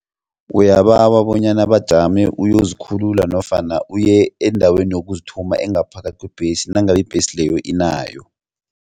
Uyabawa bonyana bajame uyozikhulula nofana uye endaweni yokuzithuma engaphakathi kwebhesi nangabe ibhesi leyo inayo.